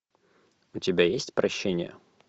у тебя есть прощение